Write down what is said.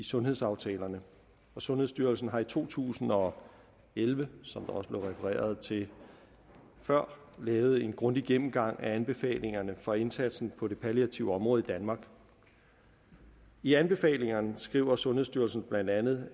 sundhedsaftalerne og sundhedsstyrelsen har i to tusind og elleve som der også blev refereret til før lavet en grundig gennemgang af anbefalingerne for indsatsen på det palliative område i danmark i anbefalingerne skriver sundhedsstyrelsen blandt andet